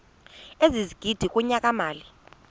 ezigidi kunyaka mali